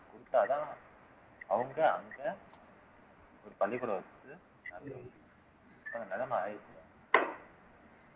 குடுத்தாதான் அவங்க அங்க ஒரு பள்ளிக்கூடம் வச்சுட்டு நிலைமை ஆயிருச்சு